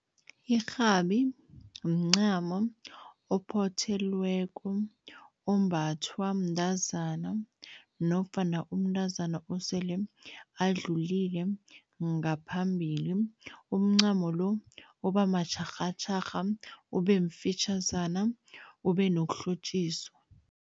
Irhabi mncamo ophothelweko, ombathwa mntazana nofana umntazana osele adlulile. Ngaphambili umncamo lo, uba matjharhatjharha, ube mfitjhazana, ube nokuhlotjiswa.